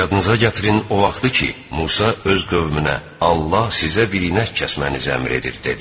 Yadınıza gətirin o vaxtı ki, Musa öz qövmünə Allah sizə bir inək kəsmənizi əmr edir dedi.